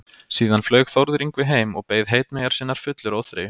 Síðan flaug Þórður Yngvi heim og beið heitmeyjar sinnar fullur óþreyju.